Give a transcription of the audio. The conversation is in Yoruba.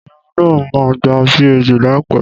Èmi náà máa gba PhD láìpẹ́